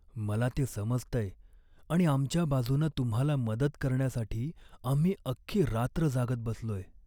मला ते समजतंय आणि आमच्या बाजूनं तुम्हाला मदत करण्यासाठी आम्ही अख्खी रात्र जागत बसलोय.